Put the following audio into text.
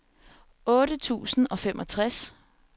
otte tusind og femogtres